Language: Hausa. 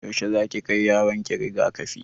Yaushe zaki kai yaronki riga-kafi?